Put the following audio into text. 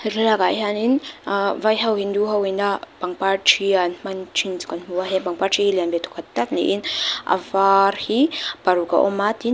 he thlalak ah hianin aa vai ho hindu ho in a pangpar ṭhi a an hman ṭhin chu kan hmu a heng pangpar ṭhi hi lian ve thawkhat tak niin a var hi paruk a awm a tin.